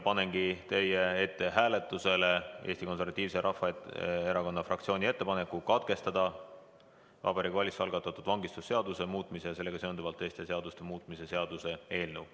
Panengi teie ette hääletusele Eesti Konservatiivse Rahvaerakonna fraktsiooni ettepaneku Vabariigi Valitsuse algatatud vangistusseaduse muutmise ja sellega seonduvalt teiste seaduste muutmise seaduse eelnõu teine lugemine katkestada.